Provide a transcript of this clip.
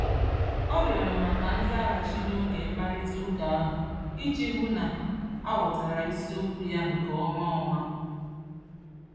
O rịọrọ maka nzaghachi n'oge mkparịtaụka ahụ iji hụ na a ghọtara isiokwu ya nke ọma. ọma.